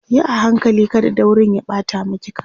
Yi a hankali kada daurin ya ɓata maki kaya